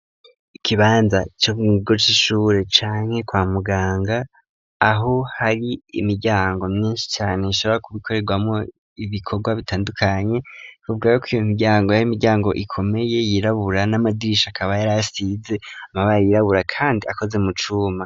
Ikibanza co mukigo cy'ishure canke kwa muganga aho hari imiryango myinshi cane ishobora kubikorerwamo ibikorwa bitandukanye bivugwako ko iyo miryango ar'imiryango ikomeye yirabura n'amadirisha akaba yari asize amabara yirabura kandi akoze mu cuma.